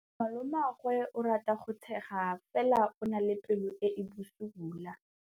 Malomagwe o rata go tshega fela o na le pelo e e bosula.